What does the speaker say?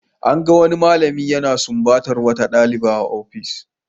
An gan wani malami yana sumbatar wata dalibi a ofishinsa.